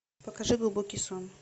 покажи глубокий сон